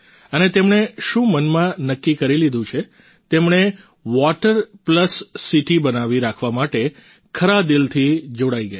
અને તેમણે શું મનમાં નક્કી કરી લીધું છે તેમણે વોટર પ્લસ સીટી બનાવી રાખવા માટે ખરા દિલથી જોડાઈ ગયા છે